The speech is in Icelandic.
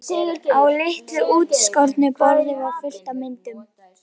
Á litlu útskornu borði var fullt af myndum.